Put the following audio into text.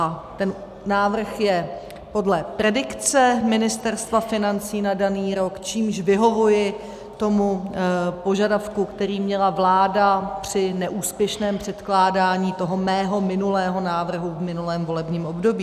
A ten návrh je podle predikce Ministerstva financí na daný rok, čímž vyhovuji tomu požadavku, který měla vláda při neúspěšném předkládání toho mého minulého návrhu v minulém volebním období.